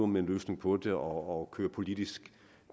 med en løsning på det og køre politisk